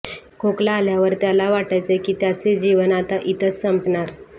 खोकला आल्यावर त्याला वाटायचे की त्याची जीवन आता इथंच संपणार